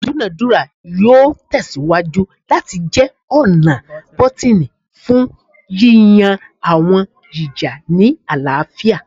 Idunadura yoo tẹsiwaju lati jẹ ọna bọtini fun yiyan awọn ija ni alaafia